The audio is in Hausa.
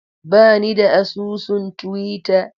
Ba ni da asusun Twitter.